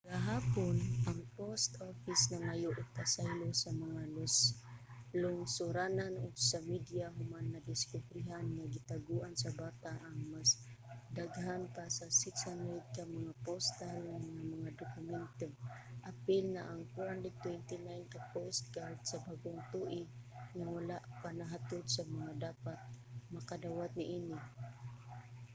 gahapon ang post office nangayo og pasaylo sa mga lungsuranon ug sa media human nadiskubrehan nga gitaguan sa bata ang mas daghan pa sa 600 ka mga postal nga mga dokumento apil na ang 429 ka postcard sa bag-ong tuig nga wala pa nahatod sa mga dapat makadawat niini